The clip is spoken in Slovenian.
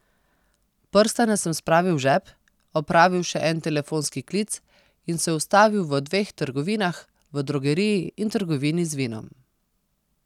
Prstane sem spravil v žep, opravil še en telefonski klic in se ustavil v dveh trgovinah, v drogeriji in trgovini z vinom.